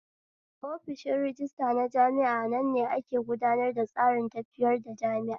Offishi rajistira na jami'a anan ne ake gudanar tsarin tafiyar da jami'a